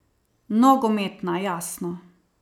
Nogometna, jasno.